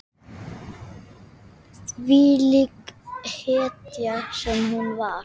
Þvílík hetja sem hún var.